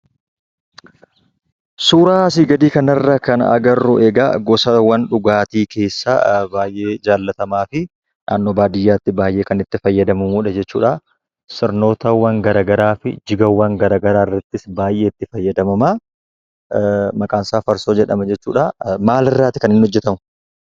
Suuraa asii gadii kanarraa kan agarru gosaawwan dhugaatii keessaa baayyee jaallatamaafi naannoo baadiyyaatti baayyee kan itti fayyadamnuudha jechuudha. Sirnootawwan gara garaafi jigiiwwan garagaraarrattis baayyee itti fayyadamama. Maqaansaa farsoo jedhama jechuudha. Maalirraa hojjatama?